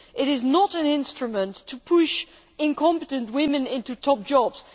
This is not an instrument to push incompetent women into top jobs.